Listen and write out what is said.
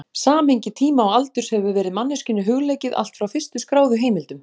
Samhengi tíma og aldurs hefur verið manneskjunni hugleikið allt frá fyrstu skráðu heimildum.